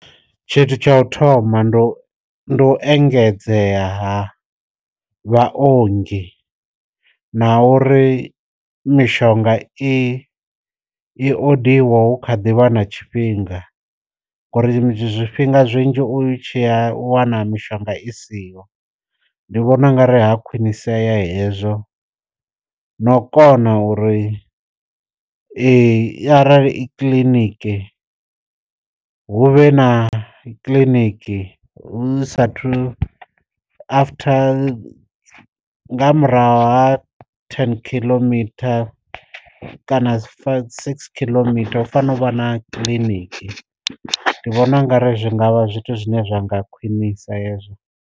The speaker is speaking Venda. Tshithu tsha u thoma ndi u ndi u engedzea vha ongi na uri mishonga i i o diwa hu kha ḓivha na tshifhinga ngori zwi zwifhinga zwinzhi u tshiya u wana mishonga i siho, ndi vhona u nga ri ha khwinisea hezwo no kona uri eyi arali i kiḽiniki hu vhe na kiḽiniki hu sathu after nga murahu ha ten kiḽometer kana six kiḽometer hu fanela u vha na kiḽiniki ndi vhona ungari zwi ngavha zwithu zwine zwa nga khwinisa hezwo.